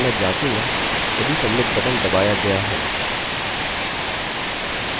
यह करने के लिए मैं पहले submit बटन को नाम दूँगा submit